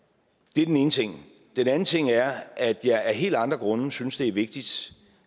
ene ting den anden ting er at jeg af helt andre grunde synes at det er vigtigt